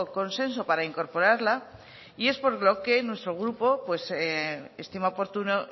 consenso para incorporarla y es por lo que nuestro grupo estima oportuno